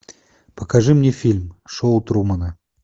покажи мне фильм шоу трумана